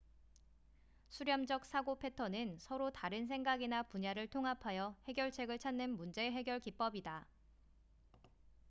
수렴젹 사고 패턴은 서로 다른 생각이나 분야를 통합하여 해결책을 찾는 문제 해결 기법이다